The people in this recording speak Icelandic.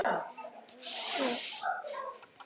Þegar hann kæmi heim, færi hann eflaust að glápa á sjónvarp.